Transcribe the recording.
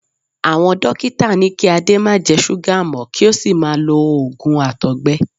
Àwọn dókítà ní kí Ade má jẹ súgà mọ́ kí ó sì máa lo òògùn àtọ̀gbẹ.